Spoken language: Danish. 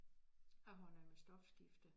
Jeg har noget med stofskifte